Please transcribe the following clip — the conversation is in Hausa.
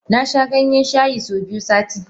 Nasha Ganyen shayi so biyu sati.